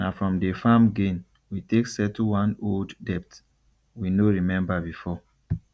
na from the farm gain we take settle one old debt we no remember before